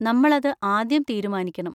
നമ്മൾ അത് ആദ്യം തീരുമാനിക്കണം.